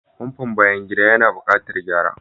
Famfon bayan gida yana buƙatar gyara.